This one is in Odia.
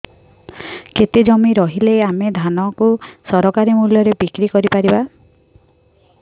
କେତେ ଜମି ରହିଲେ ଆମେ ଧାନ କୁ ସରକାରୀ ମୂଲ୍ଯରେ ବିକ୍ରି କରିପାରିବା